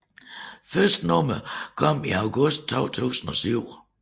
Første nummer kom i august 2007